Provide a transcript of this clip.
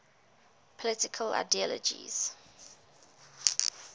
political ideologies